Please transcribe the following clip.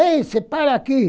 Ei, você para aqui!